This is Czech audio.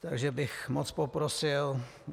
Takže bych moc poprosil.